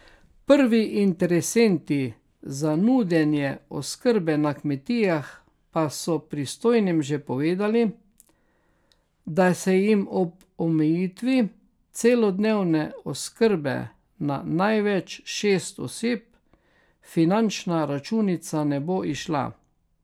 Prvi interesenti za nudenje oskrbe na kmetijah pa so pristojnim že povedali, da se jim ob omejitvi celodnevne oskrbe na največ šest oseb finančna računica ne bo izšla.